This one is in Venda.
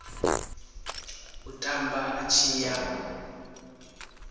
u tamba a tshi ya